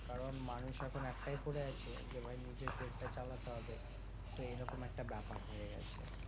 কারণ মানুষ এখন একটাই পড়ে আছে, যে ভাই নিজের পেটটা চালাতে হবে তো এরকম একটা ব্যাপার হয়ে গেছে।